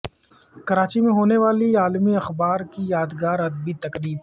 کراچی میں ہونے والی عالمی اخبار کی یادگار ادبی تقریب